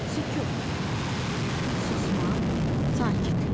Sükut, susma, sakitlik.